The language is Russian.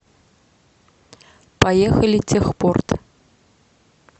поехали техпорт